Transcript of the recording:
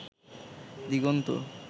দিগন্ত